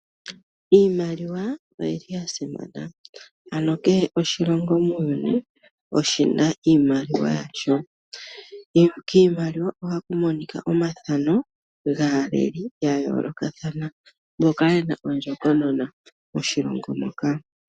Iimaliwa oya simana. Kehe oshilongo muuyuni oshi na iimaliwa yasho. Kiimaliwa ohaku monika omathano gaaleli ya yoolokathana mboka ye na ondjokonona moshilongo moka.